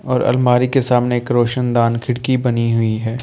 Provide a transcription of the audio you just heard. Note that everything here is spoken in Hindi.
और अलमारी के सामने एक रोशनदान खिड़की बनी हुई है।